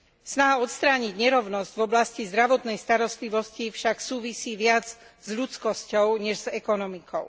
Snaha odstrániť nerovnosť v oblasti zdravotnej starostlivosti však súvisí viac s ľudskosťou než s ekonomikou.